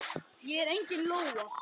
Ég er engin lóa.